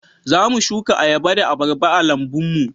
Za mu suka ayaba da abarba a lambun mu